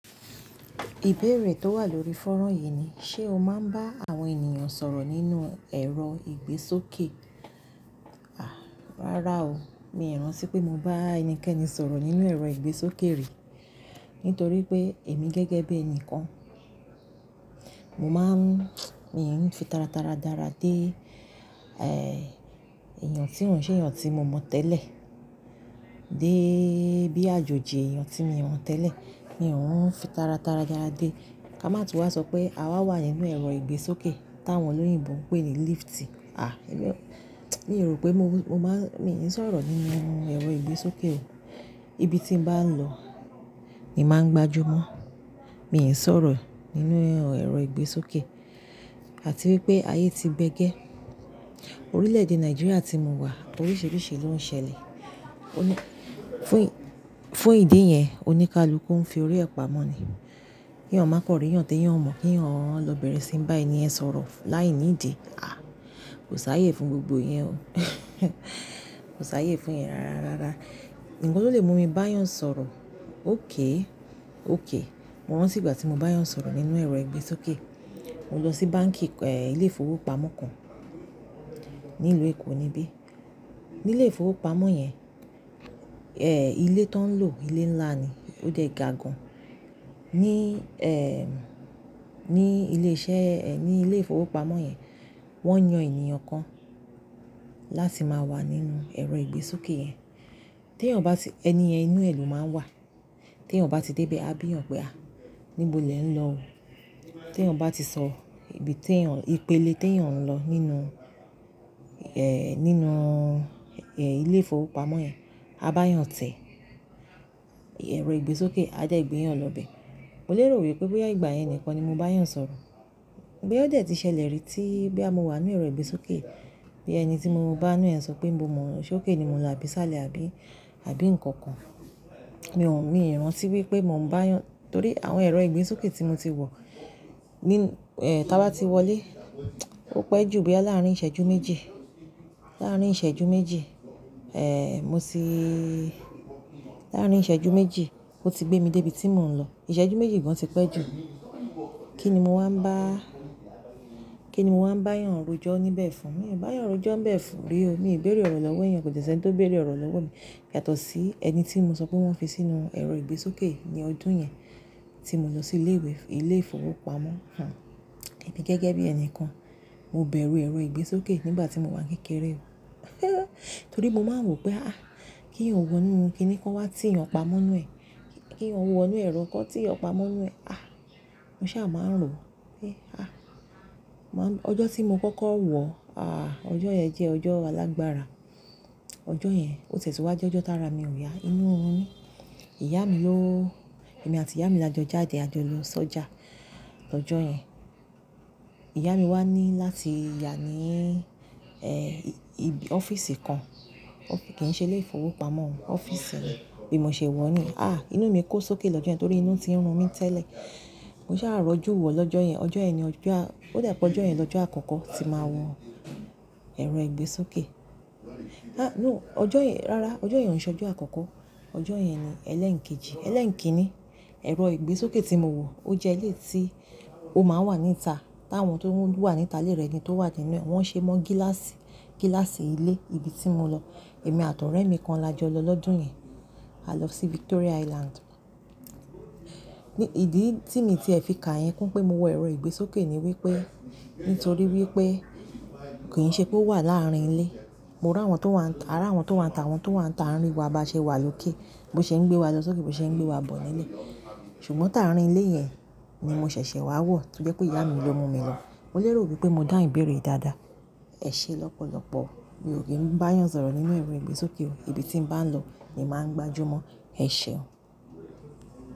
Ìbéèrè tó wà lórí fónrán yìí ni, ṣe o máa ń bá àwọn ènìyàn sọ̀rọ̀ nínú ẹ̀rọ ìgbésókè? Àá, rárá o. Mi ò rántí pé mo bá ẹnikẹ́ni sọ̀rọ̀ nínú ẹ̀rọ ìgbésókè rí. Nítorí pé èmi gẹ́gẹ́ bí ẹnìkan, mo máa ń, mi ò ń fi tara tara dára dé, ẹ́ẹ́, èèyàn tí n òun ṣe èèyàn tí mo mọ̀ tẹ́lẹ̀ dé bí àjòjì èèyàn tí mo mọ̀ tẹ́lẹ̀. Mi ò ń fi tara tara dára dé. Ká má tún wá sọ pé àwa wà nínú ẹ̀rọ ìgbésókè táwọn olóyìnbo ń pè ní lift. Àá, mi ò, mi rò pé mo, mo máa ń, mi ò ń sọ̀rọ̀ nínú ẹ̀rọ ìgbésókè o. Ibi tí mo bá ń lọ ni màá ń gbájú mọ́. Mi ò ń sọ̀rọ̀ nínú ẹ̀rọ ìgbésókè. Àti wípé ayé ti gbẹ́gẹ́. Orílẹ̀-èdè Nàìjíríà tí mo wà oríṣiríṣi ló ń ṣẹlẹ̀. Ó ní, fún, fún ìdí yẹn oníkàlù ń fi orí ẹ pa mọ́ ni. Kí èèyàn má kàn rí èèyàn tï èèyàn ò mọ̀, kí èèyàn lọ bẹ̀rẹ̀ sí ń bá èèyàn sọ̀rọ̀ láìní ìdí. Àá, kò sáyé fún gbogbo ìyẹn o. Kò sáyé fún ìyẹn rárá. Ǹkan ló lè mú mi bá èèyàn sọ̀rọ̀. Okay, okay Mo rántí ìgbà tí mo bá èèyàn sọ̀rọ̀ nínú ẹ̀rọ ìgbésókè. Mo lọ sí báǹkì, ẹ́ẹ́, ilé ìfowópamọ́ kan nílùú Èkó nibi. Nílé ìfowópamọ́ yẹn, ẹ́ẹ́, ilé tán ń lò ilé ńlá ni. Ó dè gagan. Ní, ẹ́ẹ́, ní ilé iṣẹ́, ẹ́ẹ́, ní ilé ìfowópamọ́ yẹn wọ́n yan èèyàn kan láti máa wà nínú ẹ̀rọ ìgbésókè yẹn. Tí èèyàn bá ti, ẹni ẹni inú ẹ̀ ló máa ń wà. Tí èèyàn bá ti dé ibẹ̀, a bí èèyàn pé, "Àá, níbo lẹ ń lọ?" Tí èèyàn bá ti sọ ibi tí èèyàn, ìpele tí èèyàn ń lọ nínú, ẹ́ẹ́, nínú, ẹ́ẹ́, ilé ìfowópamọ́ yẹn, a bá èèyàn tẹ̀. Ẹ̀rọ ìgbésókè á dẹ́ gbé èèyàn lọ bẹ́. Mo lérò wípé ìgbà yẹn nìkan ni mo bá èèyàn sọ̀rọ̀. Bóyá ó dẹ̀ ti ṣẹlẹ̀ rí tí bí a mo wà nínú ẹ̀rọ ìgbésókè bóyã ẹni tí mo bá nïnú e sọ pé nibo mọ, ṣókè ni mo lọ àbí ṣáàlẹ̀ àbí, àbí ǹkankan. Mi ò, mi ò rántí wípé mò ń bá èèyàn-- torí àwọn ẹ̀rọ ìgbésókè tí mo ti wọ̀ ní, ẹ́ẹ́, táa bá ti wọlé, ó pẹ́ ju bí láàárín ìṣẹ́jú méjì. Láàárín ìṣẹ́jú méjì, ẹ́ẹ́, mo ti, láàárín ìṣẹ́jú méjì ó ti gbé mi dé ibi tí mò ń lọ. Ìṣẹ́jú méjì gan ti pẹ́ ju. Kí ni mo wá ń bá, kí ni mo wá ń bá èèyàn rojọ́ níbẹ̀ fún? Mi ò bá èèyàn rojọ́ ńbẹ̀ fún bí o. Mi ò béèrè ọ̀rọ̀ lọ́wọ́ èèyàn, kò sí ẹni tó béèrè ọ̀rọ̀ lọ́wọ́ mi. Yàtọ̀ sí ẹni tí mo sọ pé wọ́n fi sínú ẹ̀rọ ìgbésókè ní ọdún yẹn tí mo lọ sí ilé ìwé, ilé ìfowópamọ́, hà. Ẹmi gẹ́gẹ́ bí ẹni kan. Mo bẹ̀rù ẹ̀rọ ìgbésókè nígbà tí mo wá ń kékeré o. Torí mo máa ń wò pé, "Àá, kí n wọ inú, kí ni kó wá ti ìyẹn pa mọ́ inú ẹ̀? Kí n wọ inú ẹ̀rọ kan tí ìyẹn pa mọ́ inú ẹ̀? Àá." Mo ṣáà máa ń rò wípé, "Àá." Mò ń, ọjọ́ tí mo kọ́kọ́ wọ̀, àá, ọjọ́ yẹn jẹ́ ọjọ́ alágbára. Ọjọ́ yẹn ó tie wá jé ọjọ́ tí ra mi ò yá. Inú run mi, ìyá mi ló, èmi àti ìyá mi la jọ jáde a jọ lọ sọ́jà lọ́jọ́ yẹn. Ìyá mi wá ní láti yà ní, ẹ́ẹ́, ọ́fíìsì kan. Kì í ṣe ilé ìfowópamọ́, ọ́fíìsì ni. Bìmo ṣe wo niyen. Àá, inú mi kò sókè lọ́jọ́ yẹn torí inú ti ń run mí tẹ́lẹ̀. Mo ṣáà rọjú wọ̀ lọ́jọ́ yẹn. Ọjọ́ yẹn ni ọjọ́ a, ó dà pé ọjọ́ yẹn ni ọjọ́ àkọ́kọ́ tí màá wọ ẹ̀rọ ìgbésókè. Há, no. Ọjọ́ yẹn, rárá, ọjọ́ yẹn ò ṣe ọjọ́ àkọ́kọ́. Ọjọ́ yẹn ni ẹlẹ́ẹ̀kejì, ẹlẹ́ẹ̀kínní. Ẹ̀rọ ìgbésókè tí mo wọ̀ ó jẹ́ ilé tí ó máa ń wà níta táwọn tó wà níta ilé rẹ̀ ni tó wà nínú ẹ́. Wọ́n ṣe mọ́ gíláàsì, gíláàsì ilé ibi tí mo lọ. Èmi àti ọ̀rẹ́ mi kan la jọ lọ lọ́dún yẹn. A lọ sí Victoria Island. Ni, ìdí tí mi ti ẹ̀ fi kà yẹn kún pé mo wọ ẹ̀rọ ìgbésókè ni wípé nítorí wípé kì í ṣe pé ó wà láàárín ilé. Mo rí àwọn tó wà, ara àwọn tó wà níta, àwọn tó wà níta rí wa bá ṣe wà lókè bó ṣe ń gbé wa lọ sókè, bó ṣe ń gbé wa bọ̀ nílé. Ṣùgbọ́n tàárín ilé yẹn ni mo ṣẹ̀ṣẹ̀ wá wọ̀ tó jẹ́ pé ìyá mi ló mú mi lọ. Mo lérò wípé mo dàbí ńbéèrè dáadáa. Ẹ̀ṣe lọ́pọ̀lọ́pọ̀. Mi ò kí ń bá èèyàn sọ̀rọ̀ nínú ẹ̀rọ ìgbésókè o. Ibi tí mo bá ń lọ ni màá ń gbájú mọ́. Ẹ̀ṣe o.